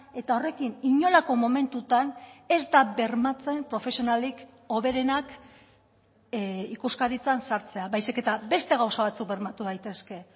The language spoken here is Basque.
eta horrekin inolako momentutan ez da bermatzen profesionalik hoberenak ikuskaritzan sartzea baizik eta beste gauza batzuk bermatu daitezke